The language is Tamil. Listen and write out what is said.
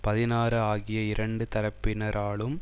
பதினாறு ஆகிய இரண்டு தரப்பினராலும்